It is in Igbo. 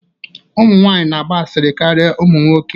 Ụmụ nwanyị na-agba asịrị karịa ụmụ nwoke